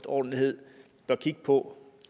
ordentlighed bør kigge på